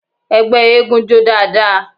Ẹgbẹ́ eégún jó dáadáa.